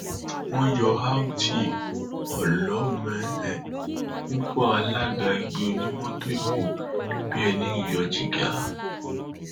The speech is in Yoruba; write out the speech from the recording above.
dandan ni fáwọn akẹkọọ wa ní uniosun láti ní ìmọ nípa iṣẹ ọwọ ọjọgbọn adébòoyè